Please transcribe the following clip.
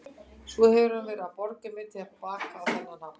Svo hefur hann verið að borga mér til baka á þennan hátt.